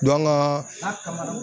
Dɔn an gaa